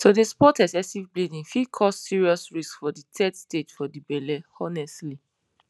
to dey spot excessive bleeding fit cause serious risks for de third stage for de belle honestly